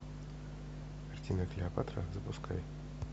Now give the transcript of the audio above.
картина клеопатра запускай